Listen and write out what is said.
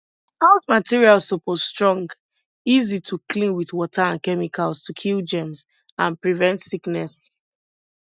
house materials suppose strong easy to clean with water and chemicals to kill germs and prevent sickness